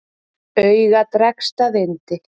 Auga dregst að yndi.